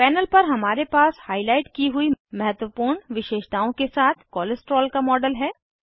panel पर हमारे पास हाईलाइट की हुई महत्वपूर्ण विशेषताओं के साथ कोलेस्टेरोल का मॉडल है